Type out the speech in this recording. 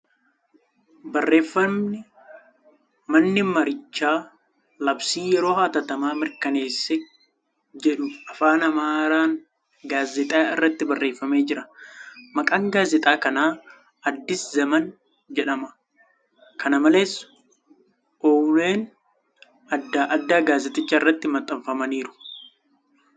Barreeffamni ' manni marichaa labsii yeroo hatattamaa mirkaneesse ' jedhu Afaan Amaaraan gaazeexaa irratti barreeffamee jira. Maqaan gaazeexaa kana ' Addi Zaman ' jedhama. Kana malees, ouuleen adda addaa gaazexicha irratti maxxanfamaniiru.